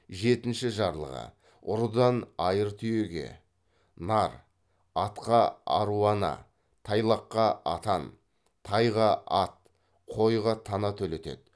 жетінші жарлығы ұрыдан айыр түйеге нар атқа аруана тайлаққа атан тайға ат қойға тана төлетеді